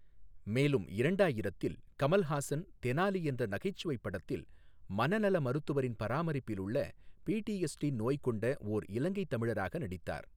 மேலும் இரண்டாயிரத்தில், கமல்ஹாசன் தெனாலி என்ற நகைச்சுவைப் படத்தில் மனநல மருத்துவரின் பராமரிப்பிலுள்ள பிடிஎஸ்டி நோய் கொண்ட ஓர் இலங்கைத் தமிழராக நடித்தார்.